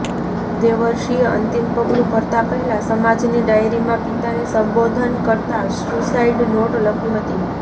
દેવર્ષીએ અંતિમ પગલું ભરતા પહેલાં સમાજની ડાયરીમાં પિતાને સંબોધન કરતા સ્યુસાઈડ નોટ લખી હતી